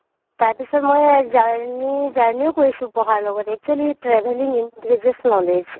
তাৰপিছত মই journey, journey ও কৰিছো পঢ়াৰ লগতে actually travelling increases knowledge